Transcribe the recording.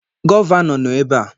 Gọvanọ nọ ebe a.